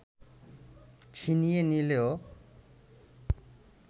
ছিনিয়ে নিলেও